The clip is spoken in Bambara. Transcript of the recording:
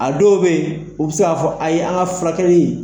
A dɔw bɛ yen, u bɛ se k'a fɔ ayi, an ka furakɛli